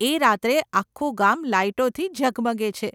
એ રાત્રે આખું ગામ લાઈટોથી ઝગમગે છે.